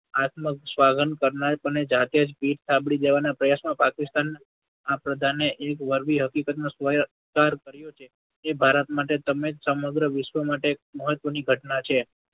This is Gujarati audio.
આત્મ કરનાર જાતે જ પીઠ થાબડી દેવાના પ્રયાસમાં પાકિસ્તાન ના પ્રધાને એક વળગી હકીકતનો કે ભારત માટે તમે જ સમગ્ર વિશ્વ માટે એક મહત્ત્વની ઘટના છે.